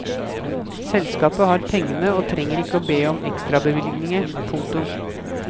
Selskapet har pengene og trenger ikke å be om ekstrabevilgninger. punktum